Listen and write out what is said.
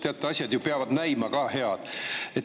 Teate, asjad peavad ju ka näima head.